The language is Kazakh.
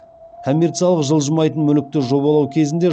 коммерциялық жылжымайтын мүлікті жобалау кезінде